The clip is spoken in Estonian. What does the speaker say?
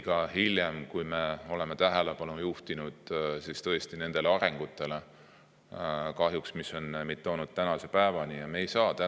Ka hiljem oleme tähelepanu juhtinud nendele arengutele, mis kahjuks on meid toonud tänase päeva.